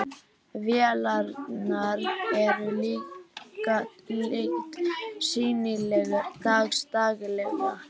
Vélarnar eru líka lítt sýnilegar dags daglega.